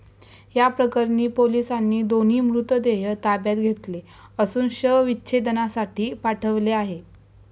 याप्रकरणी पोलिसांनी दोन्ही मृतदेह ताब्यात घेतले असून शवविच्छेदनासाठी पाठवले आहे.